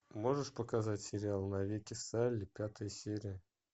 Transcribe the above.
можешь показать сериал навеки салли пятая серия